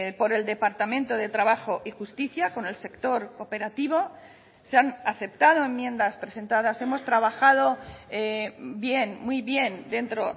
por el departamento de trabajo y justicia con el sector cooperativo se han aceptado enmiendas presentadas hemos trabajado bien muy bien dentro